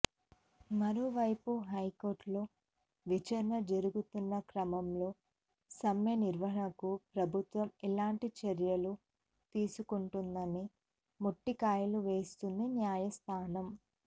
మరోవైపు హైకోర్టులో విచారణ జరుగుతున్న క్రమంలో సమ్మె నివారణకు ప్రభుత్వం ఎలాంటి చర్యలు తీసుకుంటుందని మొట్టికాయలు వేస్తోంది న్యాయస్థానం